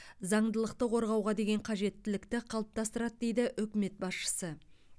заңдылықты қорғауға деген қажеттілікті қалыптастырады дейді үкімет басшысы